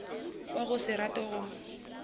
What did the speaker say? wa go se rate go